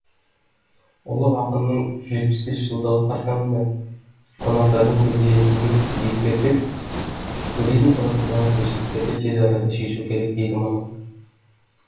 ұлы ақынның жүз жетпіс бес жылдығы қарсаңында қонақтардың көбейетінін ескерсек туризм саласындағы кемшіліктерді тез арада шешу керек дейді маман